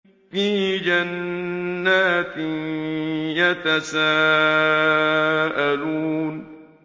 فِي جَنَّاتٍ يَتَسَاءَلُونَ